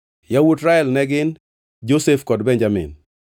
Yawuot Rael ne gin: Josef kod Benjamin.